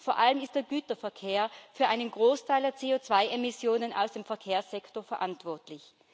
Vor allem ist der Güterverkehr für einen Großteil der CO2 Emissionen aus dem Verkehrssektor verantwortlich.